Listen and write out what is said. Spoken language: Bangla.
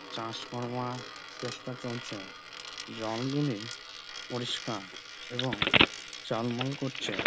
চাষ করবার চেষ্টা চলছ জলগুলি পরিষ্কার এবং ঝলমল করছে।